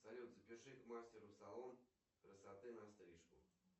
салют запиши к мастеру в салон красоты на стрижку